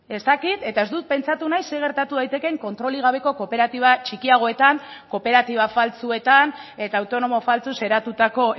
ez dakit eta ez dut pentsatu nahi zer gertatu daitekeen kontrolik gabeko kooperatiba txikiagoetan kooperatiba faltsuetan eta autonomo faltsuz eratutako